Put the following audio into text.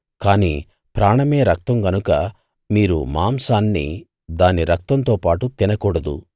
కాని ప్రాణమే రక్తం గనుక మీరు మాంసాన్ని దాని రక్తంతో పాటు తినకూడదు